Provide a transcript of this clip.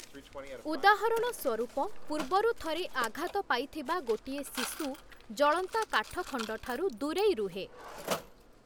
ଉଦାହରଣ ସ୍ଵରୂପ ପୂର୍ବରୁ ଥରେ ଆଘାତ ପାଇଥିବା ଗୋଟିଏ ଶିଶୁ, ଜଳନ୍ତା କାଠଖଣ୍ଡଠାରୁ ଦୂରେଇ ରୁହେ ।